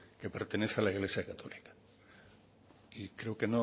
que pertenece al iglesia católica y creo que